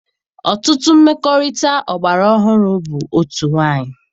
Ọtụtụ mmekọrịta ọgbara ọhụrụ bụ otu nwanyị.